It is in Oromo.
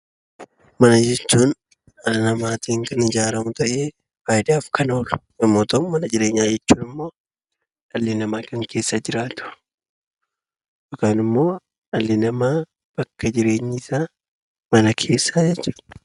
Mana jechuun dhala namaatiin kan ijaaramu ta'ee faayidaaf kan oolu yommuu ta'u, mana jireenyaa jechuun immoo dhalli namaa kan keessa jiraatu yookaan immoo dhalli namaa bakka jireenyi isaa mana keessa jechuu dha.